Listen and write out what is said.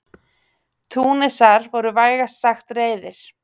Túnisar voru vægast sagt reiðir.